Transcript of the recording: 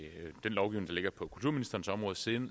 den lovgivning der ligger på kulturministerens område siden